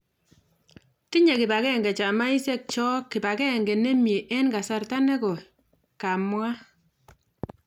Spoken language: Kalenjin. tinye kipagenge chamaisiekchog kipagengee nimiee en kasarta negoii ,� kamwaa